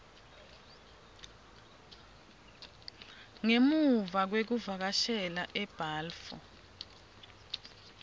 ngemuva kwekuvakashela ebalfour